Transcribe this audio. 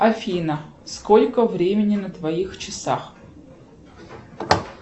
афина сколько времени на твоих часах